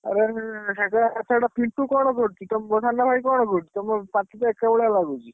ଆରେ ସାଡେ ପିଣ୍ଟୁ କଣ କରୁଚି? ତମ ସାନ ଭାଇ କଣ କରୁଚି? ତମ ପାଟିତ ଏକାଭଳିଆ ଲାଗୁଚି।